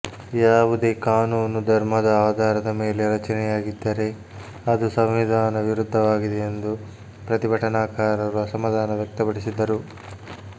ಯಾವುದೇ ಕಾನೂನು ಧರ್ಮದ ಆಧಾರದ ಮೇಲೆ ರಚನೆಯಾಗಿದ್ದರೆ ಅದು ಸಂವಿಧಾನ ವಿರುದ್ದವಾಗಿದೆ ಎಂದು ಪ್ರತಿಭಟನಾಕಾರರು ಅಸಮಾಧಾನ ವ್ಯಕ್ತಪಡಿಸಿದರು